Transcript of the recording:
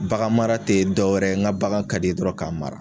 Baganmara tɛ dɔwɛrɛ ye n ka bagan ka di ye dɔrɔn k'a mara.